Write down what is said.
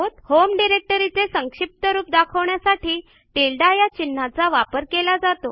home डिरेक्टरीचे संक्षिप्त रूप दाखवण्यासाठी टिल्डे या चिन्हाचा वापर केला जातो